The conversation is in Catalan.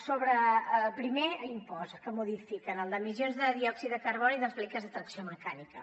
sobre el primer impost que modifiquen el d’emissions de diòxid de carboni dels vehicles de tracció mecànica